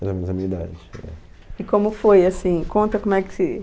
Mais ou menos da minha idade, é. E como foi, assim, conta como é que se...